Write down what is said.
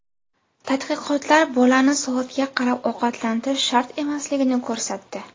Tadqiqotlar bolani soatga qarab ovqatlantirish shart emasligini ko‘rsatdi.